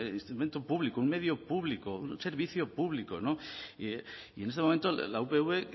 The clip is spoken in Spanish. instrumento público un medio público un servicio público y en este momento la upv